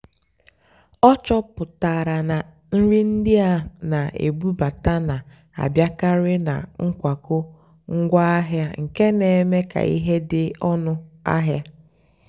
ọ́ chọ́pụ́tárá nà nrì ndí á nà-èbúbátá nà-àbịákàrị́ nà nkwákó ngwáàhịá nkè nà-èmékà hà dì́ ónú àhịá.